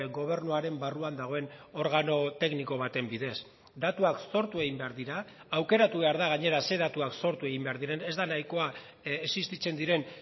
gobernuaren barruan dagoen organo tekniko baten bidez datuak sortu egin behar dira aukeratu behar da gainera ze datuak sortu egin behar diren ez da nahikoa existitzen diren